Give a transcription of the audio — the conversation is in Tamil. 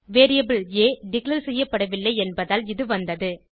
வேரியபிள் ஆ டிக்ளேர் செய்யப்படவில்லை என்பதால் இது வந்தது